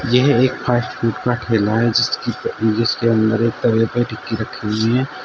यह एक fast food का ठेला है जिसकी जिसके अंदर एक तवे पे टिक्की रखी हुई हैं।